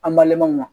An balimaw ma